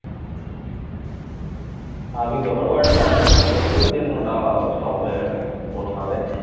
স্বাভাবিক ব্যাপার ও একটা ব্যবসা start করেছিল then ওটা stop হয়ে গেছে কোনভাবে